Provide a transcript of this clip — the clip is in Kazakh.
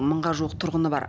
мыңға жуық тұрғыны бар